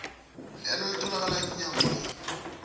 lelo litholakala emnyangweni